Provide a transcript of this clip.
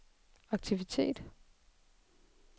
aktivitet